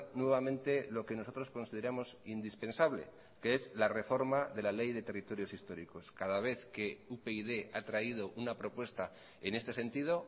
nuevamente lo que nosotros consideramos indispensable que es la reforma de la ley de territorios históricos cada vez que upyd ha traído una propuesta en este sentido